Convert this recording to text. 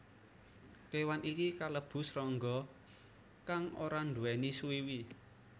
Kéwan iki kalebu srangga kang ora nduwèni suwiwi